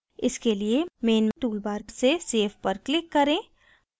इसके लिए main toolbar से save पर click करें